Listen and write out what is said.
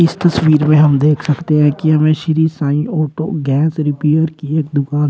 इस तस्वीर में हम देख सकते हैं कि हमें Shri sign auto gas repair की एक दुकान--